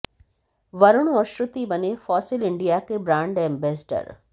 वरुण और श्रुति बने Fossil India के ब्रांड एंबेसडर